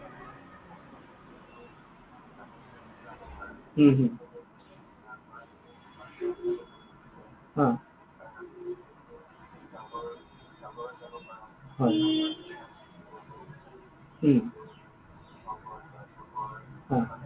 হম হম অ। হয়। উম অ।